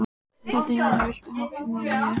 Katarínus, viltu hoppa með mér?